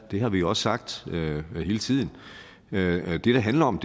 og det har vi jo også sagt hele tiden det det handler om